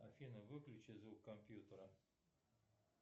афина выключи звук компьютера